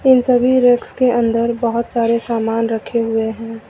इन सभी रैक्स के अंदर बहोत सारे सामान रखे हुए हैं।